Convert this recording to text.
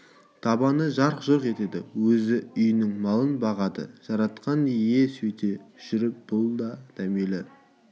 табаны жарқ-жұрқ етеді өзі үйінің малын бағады жаратқан ие сөйте жүріп бұл да дәмелі